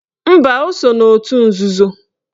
Mba, o so n'otu nzuzo